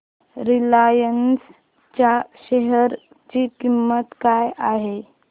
Reliance च्या share ची किंमत काय आहे